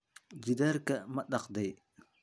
gidaarka ma dhaqday?